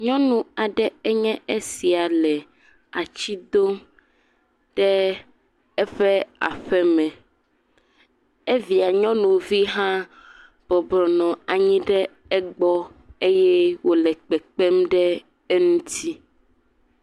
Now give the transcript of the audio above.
Nyɔnu aɖe enye esia le ati dom ɖe eƒe aƒeme, evia nyɔnuvi hã bɔbɔ nɔ anyi ɖe egbe eye wòle kpekpem ɖe eŋuti.